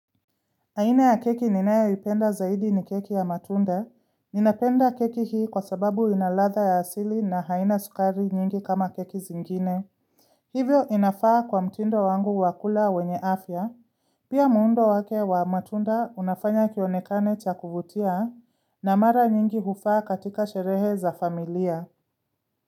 Aina ya keki ninayoipenda zaidi ni keki ya matunda. Ninapenda keki hii kwa sababu ina ladha ya asili na haina sukari nyingi kama keki zingine. Hivyo inafaa kwa mtindo wangu wa kula wenye afya. Pia muundo wake wa matunda unafanya kionekane cha kuvutia na mara nyingi hufaa katika sherehe za familia.